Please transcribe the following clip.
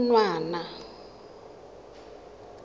khunwana